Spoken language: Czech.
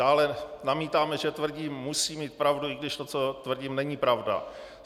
Dále namítáme, že tvrdí: Musím mít pravdu, i když to, co tvrdím, není pravda.